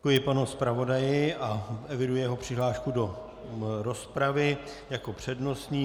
Děkuji panu zpravodaji a eviduji jeho přihlášku do rozpravy jako přednostní.